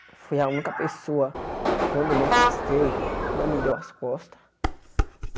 Foi a única pessoa que quando eu me afastei não me deu as costas.